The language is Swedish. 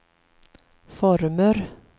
former